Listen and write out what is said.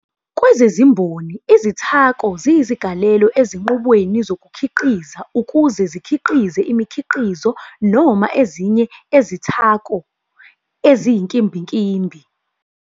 Kwezezimboni, izithako ziyizigalelo ezinqubweni zokukhiqiza ukuze zikhiqize imikhiqizo noma ezinye ezithako eziyinkimbinkimbi.